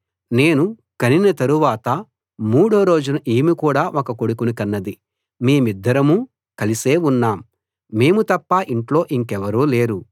నేను కనిన తరవాత మూడో రోజు ఈమె కూడా ఒక కొడుకుని కన్నది మేమిద్దరమూ కలిసే ఉన్నాం మేము తప్ప ఇంట్లో ఇంకెవరూ లేరు